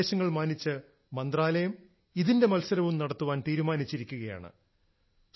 നിങ്ങളുടെ നിർദ്ദേശങ്ങൾ മാനിച്ച് മന്ത്രാലയം ഇതിന്റെ മത്സരവും നടത്താൻ തീരുമാനിച്ചിരിക്കുകയാണ്